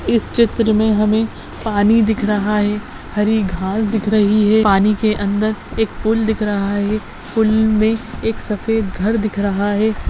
इस चित्र मे हमे पानी दिख रहा है हरी घास दिख रही है पानी के अंदर एक पूल दिख रहा है पूल मे एक सफ़ेद घर दिख रहा है।